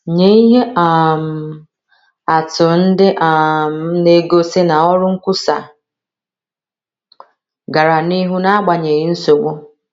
Nye ihe um atụ ndị um na - egosi na ọrụ nkwusa gara n’ihu n’agbanyeghị nsogbu.